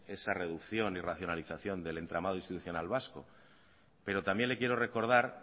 esa reducción y racionalización del entramado institucional vasco pero también le quiero recordar